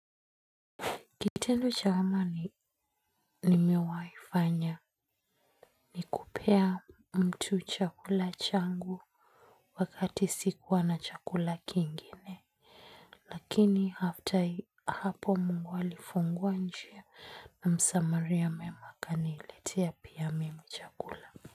Kitendo cha amani nimewahi fanya ni kupea mtu chakula changu wakati sikuwa na chakula kingine. Lakini after hapo mungu alifungua njia. Na msamaria mwema akaniletea pia mimi chakula.